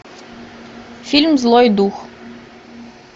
фильм злой дух